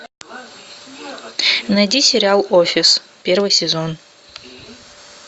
найди сериал офис первый сезон